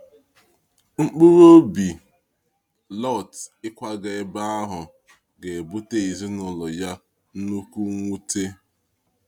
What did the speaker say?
Mkpụrụ obi Lọt ịkwaga ebe ahụ ga-ebute ezinụlọ ya nnukwu mwute.